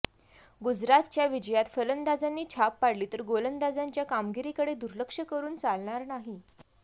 गुजरातच्या विजयात फलंदाजांनी छाप पाडली तरी गोलंदाजांच्या कामगिरीकडे दुर्लक्ष करून चालणार नाही